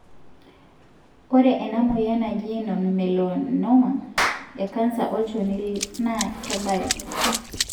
ore ena moyian naaji nonmelanoma ekanser olchoni na kebayu.